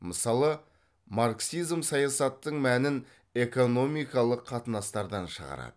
мысалы марксизм саясаттың мәнін экономикалық қатынастардан шығарады